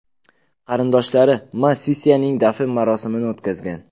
Qarindoshlari Ma Sisyanning dafn marosimini o‘tkazgan.